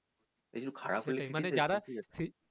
খারাপ হলে